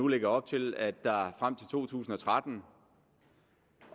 lægge op til at der frem til to tusind og tretten